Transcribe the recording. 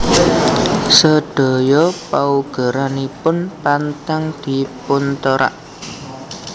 Sedaya paugeranipun pantang dipunterak